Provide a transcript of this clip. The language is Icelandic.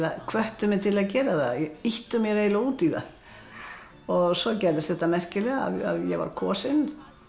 hvöttu mig til að gera það ýttu mér eiginlega út í það svo gerðist þetta merkilega að ég var kosin